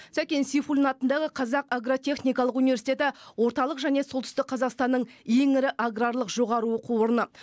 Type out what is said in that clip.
сәкен сейфуллин атындағы қазақ агротехникалық университеті орталық және солтүстік қазақстанның ең ірі аграрлық жоғары оқу орны